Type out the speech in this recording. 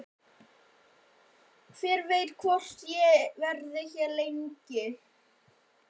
Hver veit hvort ég verði hérna lengi?